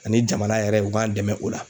Ani jamana yɛrɛ u k'an dɛmɛ o la.